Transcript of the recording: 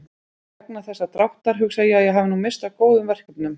Vegna þessa dráttar hugsa ég að ég hafi nú misst af góðum verkefnum.